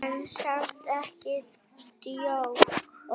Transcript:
En samt ekki djók.